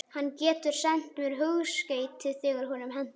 Hann getur sent mér hugskeyti þegar honum hentar.